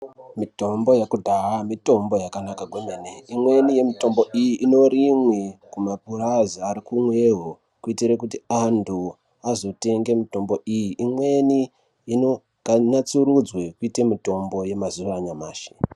Mitombo yekudhaya mitombo yakanaka kwemene imweni yemitombo iyi inorimwe kumapurazi ari kumweni kuitire kuti anthu azotenge mitombo iyi imweni inonasurudzwe kuite mitombo yemazuwa anyamashi.